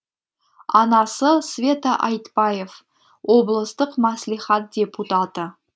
анасы света айтбаев облыстық мәслихат депутаты